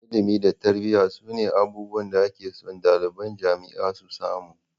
Ilimi da tarbiyya su ne abubuwan da ake so ɗaliban jami'a su samu